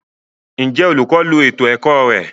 Njẹ olukọ lo ètò ẹkọ rẹ?